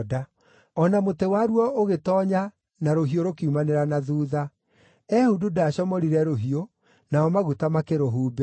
O na mũtĩ waruo ũgĩtoonya na rũhiũ rũkiumanĩra na thuutha. Ehudu ndaacomorire rũhiũ, namo maguta makĩrũhumbĩra.